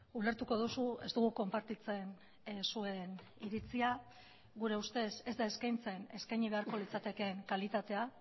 ulertuko duzu ez dugu konpartitzen zuen iritzia gure ustez ez da eskaintzen eskaini beharko litzatekeen kalitatea